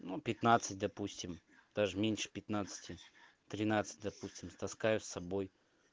ну пятнадцать допустим даже меньше пятнадцати тринадцать допустим таскаю с собой